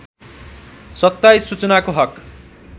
२७ सूचनाको हक